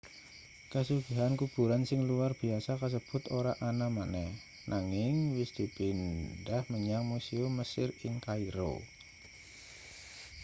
kasugihan kuburan sing luwar biyasa kasebut ora ana maneh nanging wis dipindhah menyang musium mesir ing kairo